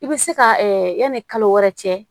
I bɛ se ka yanni kalo wɛrɛ cɛ